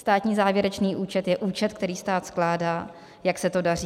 Státní závěrečný účet je účet, který stát skládá, jak se to daří.